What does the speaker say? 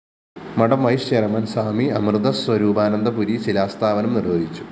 മഠം vice chairman Swami Amritaswarupananda Puri ശിലാസ്ഥാപനം നിര്‍വ്വഹിച്ചു